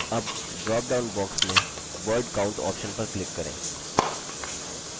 अब dropdown box में word count option पर click करें